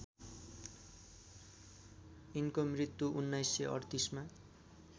यिनको मृत्यु १९३८मा